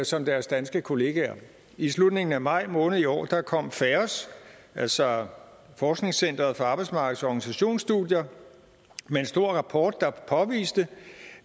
som deres danske kollegaer i slutningen af maj måned i år kom faos altså forskningscenter for arbejdsmarkedets og organisationsstudier med en stor rapport der påviste